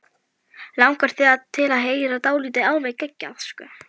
Langar þig til að heyra dálítið alveg geggjað?